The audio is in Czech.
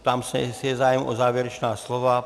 Ptám se, jestli je zájem o závěrečná slova.